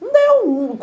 Não deu!